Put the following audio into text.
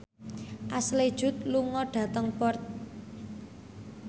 Ashley Judd lunga dhateng Perth